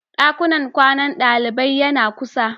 Dakunan kwanan dalibai yana kusa.